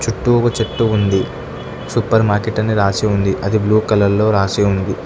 చుట్టూ ఒక చెట్టు ఉంది సూపర్ మార్కెట్ అని రాసి ఉంది అది బ్లూ కలర్లో రాసి ఉంది.